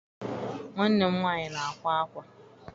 Nwanne m nwaanyị na-akwa akwa.